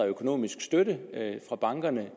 økonomisk støtte fra bankerne